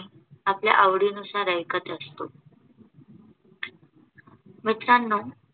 आपल्या आवडी नुसार ऐकत असतो. मित्रांनो